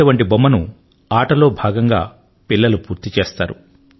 అటువంటి బొమ్మను ఆటలో భాగంగా పిల్లలు పూర్తి చేస్తారు